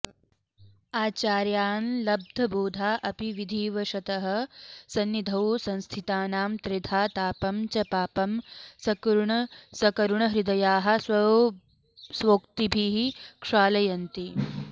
आचार्याल्लब्धबोधा अपि विधिवशतः संनिधौ संस्थितानां त्रेधा तापं च पापं सकरुणहृदयाः स्वोक्तिभिः क्षालयन्ति